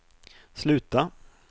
sluta